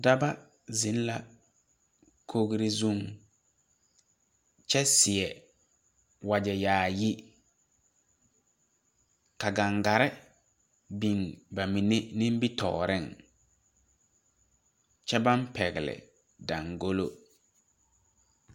Daba zeŋ la kogre zuŋ kyɛ seɛ wagyɛ yaayi ka gaŋgarre biŋ ba mine nimitooreŋ kyɛ baŋ pɛgle dangolo.